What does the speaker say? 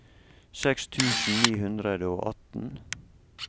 seks tusen ni hundre og atten